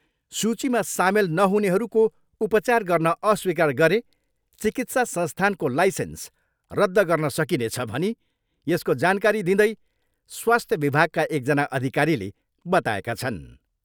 सूचीमा सामेल नहुनेहरूको उपचार गर्न अस्वीकार गरे चिकित्सा संस्थानको लाइसेन्स रद्द गर्न सकिनेछ भनी यसको जानकारी दिँदै स्वास्थ्य विभागका एकजना अधिकारीले बताएका छन् ।